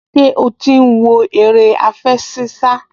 Ṣé ó ti ń wo eré àfẹṣinsá?